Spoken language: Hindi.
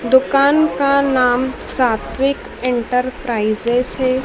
दुकान का नाम सात्विक एंटरप्राइजेज है।